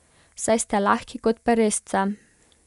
Saj ste lahki kot peresce.